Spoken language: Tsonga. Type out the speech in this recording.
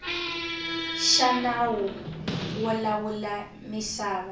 xa nawu wo lawula misava